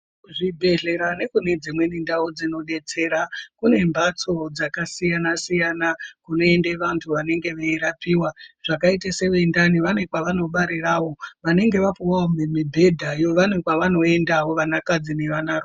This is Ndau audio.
Kuzvibhedhlera nekunedzimweni ndau dzinodetsera kune mhatso dzakasiyana siyana kunoende vanhu vanenge veirapiwa. Vakaitawo sevendani vane kwavanobarirawo. Vanenge vapiwa mibhedhayo vane kwavanoenda vanakadzi nevanarume.